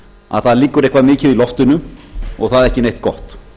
að það liggur eitthvað mikið í loftinu og það ekki neitt gott